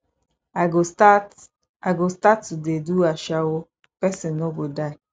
i go start i go start to dey do ashawo person no go die